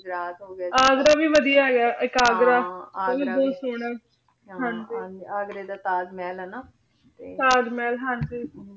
ਗੁਜਰਾਤ ਹੋ ਗਯਾ ਅਗਰ ਵੀ ਵਾਦਿਯ ਹੇਗਾ ਆਯ ਏਇਕ ਅਗਰ ਹਾਂ ਅਗਰ ਵੀ ਊ ਵੀ ਬੋਹਤ ਸੋਹਨਾ ਹਾਂ ਹਾਂਜੀ ਅਗਰ ਦਾ ਤਾਜ ਮੇਹਲ ਆ ਨਾ ਤਾਜ ਮਹਲ ਹਾਂਜੀ